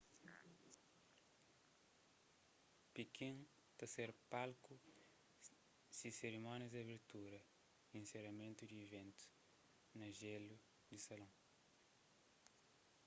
pikin ta ser palku si serimónias di abertura y inseramentu y di iventus na jélu di salon